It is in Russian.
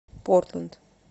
портленд